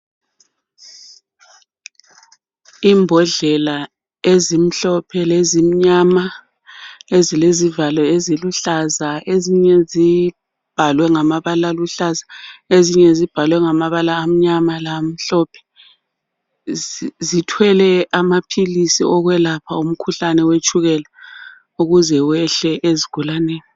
Imbodlela ezimhlophe lezimnyama ezilezivalo eziluhlaza ezinye zibhalwe ngamabala aluhlaza ezinye libhalwe ngamabala amnyama lamhlophe zithwele amaphilisi wokwelapha umkhuhlane wetshukela ukuze wehle ezigulaneni.